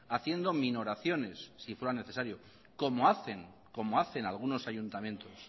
haciendo minoraciones si fuera necesario como hacen algunos ayuntamientos